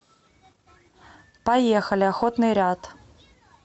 поехали охотный ряд